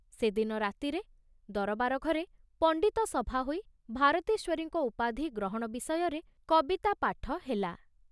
ସେ ଦିନ ରାତିରେ ଦରବାର ଘରେ ପଣ୍ଡିତ ସଭା ହୋଇ ଭାରତେଶ୍ୱରୀଙ୍କ ଉପାଧି ଗ୍ରହଣ ବିଷୟରେ କବିତା ପାଠ ହେଲା।